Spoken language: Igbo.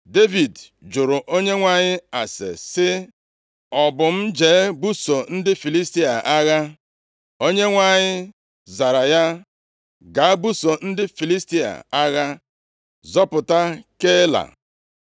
Devid jụrụ Onyenwe anyị ase sị, “Ọ bụ m jee buso ndị Filistia a agha?” Onyenwe anyị zara ya, “Gaa, buso ndị Filistia agha, zọpụta Keila.”